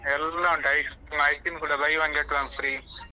ಎಲ್ಲಾ ಉಂಟು ice~ ice cream ಕೂಡ buy one get one free .